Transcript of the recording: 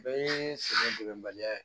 Bɛɛ ye sɛgɛn degebaliya ye